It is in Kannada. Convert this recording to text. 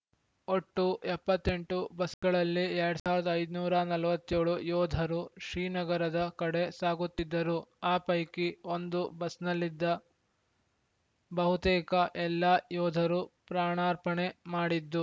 ಒಟ್ಟು ಎಪ್ಪತ್ತ್ ಎಂಟು ಬಸ್‌ಗಳಲ್ಲಿ ಎರಡ್ ಸಾವಿರದ ಐದುನೂರ ನಲವತ್ತ್ ಏಳು ಯೋಧರು ಶ್ರೀನಗರದ ಕಡೆ ಸಾಗುತ್ತಿದ್ದರು ಆ ಪೈಕಿ ಒಂದು ಬಸ್‌ನಲ್ಲಿದ್ದ ಬಹುತೇಕ ಎಲ್ಲ ಯೋಧರು ಪ್ರಾಣಾರ್ಪಣೆ ಮಾಡಿದ್ದು